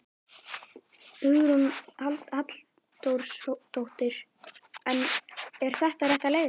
Hugrún Halldórsdóttir: En er þetta rétta leiðin?